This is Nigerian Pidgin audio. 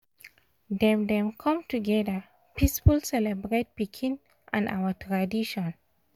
dem dem com together peaceful celebrate pikin and our tradition